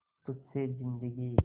तुझ से जिंदगी